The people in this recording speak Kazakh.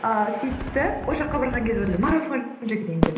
ыыы сөйтті ол жаққа барған кезде марафон жүгірейін деп